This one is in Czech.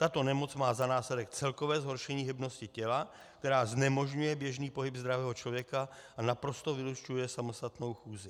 Tato nemoc má za následek celkové zhoršení hybnosti těla, které znemožňuje běžný pohyb zdravého člověka a naprosto vylučuje samostatnou chůzi.